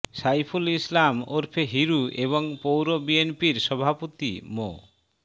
সাইফুল ইসলাম ওরফে হিরু এবং পৌর বিএনপির সভাপতি মো